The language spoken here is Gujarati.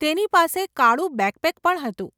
તેની પાસે કાળું બેકપેક પણ હતું.